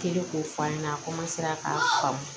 k'o f'a ɲɛna a k'a faamu